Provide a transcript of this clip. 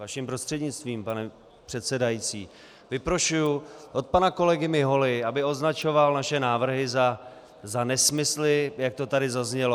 Vašim prostřednictvím, pane předsedající, vyprošuji od pana kolegy Miholy, aby označoval naše návrhy za nesmysly, jak to tady zaznělo.